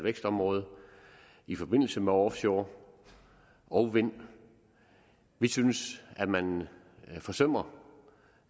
vækstområde i forbindelse med offshore og vind vi synes at man forsømmer